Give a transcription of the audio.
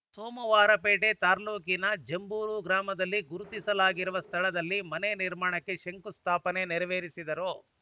ಸೋಮವಾರಪೇಟೆ ತಾಲೂಕಿನ ಜಂಬೂರು ಗ್ರಾಮದಲ್ಲಿ ಗುರುತಿಸಲಾಗಿರುವ ಸ್ಥಳದಲ್ಲಿ ಮನೆ ನಿರ್ಮಾಣಕ್ಕೆ ಶಂಶುಸ್ಥಾಪನೆ ನೆರವೇರಿಸಿದರು